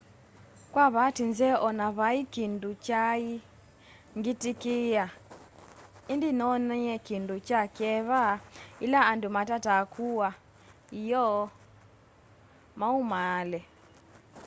kwa vaati nzeo o na vai kindu kyaa ngitikia indi ninoonie kindu kya kyeva yila andu matataa kuaa ioo maumaale